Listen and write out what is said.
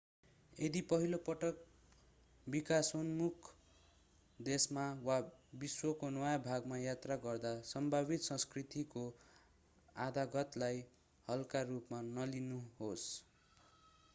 यदि पहिलो पटक विकासोन्मुख देशमा वा विश्वको नयाँ भागमा यात्रा गर्दा सम्भावित संस्कृतिको आघातलाई हल्का रुपमा नलिनुहोस्